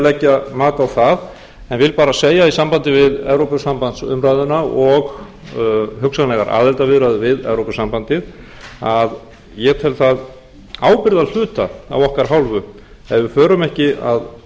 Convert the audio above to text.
leggja mat á það en vil bara segja í sambandi við evrópusambandsumræðuna og hugsanlegar aðildarumræður við evrópusambandið að ég tel það ábyrgðarhluta af okkar hálfu ef við förum ekki að